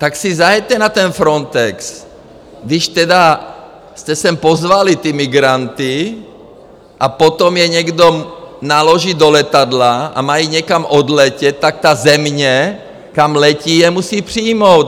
Tak si zajeďte na ten Frontex, když tedy jste sem pozvali ty migranty, a potom je někdo naloží do letadla a mají někam odletět, tak ta země, kam letí, je musí přijmout.